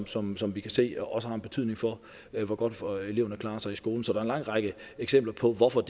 som som vi kan se også har en betydning for hvor godt eleverne klarer sig i skolen så der en lang række eksempler på hvorfor